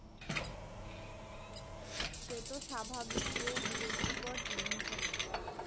সেতো স্বাভাবিক গো বিরক্তিকর জিনিস একটা।